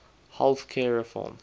health care reform